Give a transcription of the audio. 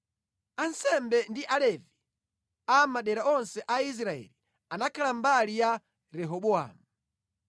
Ansembe ndi Alevi a mʼmadera onse a Israeli anakhala mbali ya Rehobowamu.